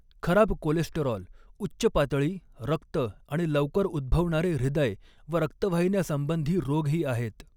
, 'खराब कोलेस्टेरॉल' उच्च पातळी, रक्त आणि लवकर उद्भवणारे हृदय व रक्तवाहिन्यासंबंधी रोग ही आहेत.